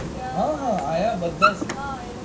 હા હા આયા બધે જ છે.